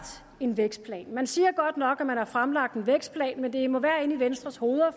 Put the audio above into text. en vækstplan man siger godt nok at man har fremlagt en vækstplan men det må være inde i venstres hoveder